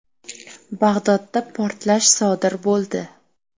Bag‘dodda portlash sodir bo‘ldi.